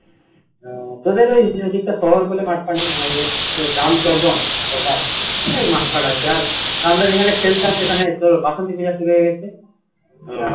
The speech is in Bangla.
আহ তোদের ওই ওদিক টা শহর বলে মাঠ নেই আমাদের তো গ্রাম তো একদম proper অনেক মাঠ ফাট আছে আর আমরা যেখানে খেলতাম সেখানে তোর বাসন্তী পূজা শুরু হয়ে গেছে